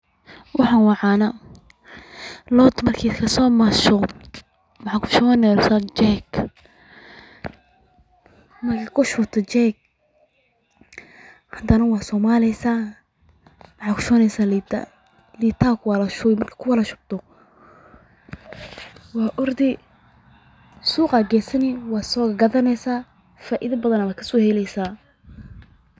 Waxan waa cana lod marki lasi masho maxaa kushuwaneysa jeg, marki aad kushuwato heg hadana waa somaleysa maxaaa kushuwaneysa lita, liita aya kuwadhashuwi marka kushubto waa ordi suqa aya gesaneysa waa so gadhaneysa faidha badan ba kaso heleysa ba.